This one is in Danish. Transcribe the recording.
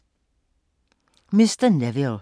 Mr. Neville